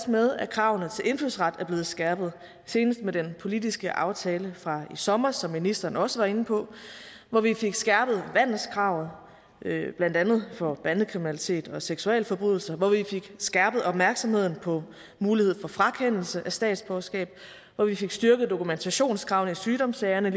med at kravene til indfødsret er blevet skærpet senest med den politiske aftale fra i sommers som ministeren også var inde på hvor vi fik skærpet vandelskravet blandt andet for bandekriminalitet og seksualforbrydelser hvor vi fik skærpet opmærksomheden på mulighed for frakendelse af statsborgerskab hvor vi fik styrket dokumentationskravene i sygdomssagerne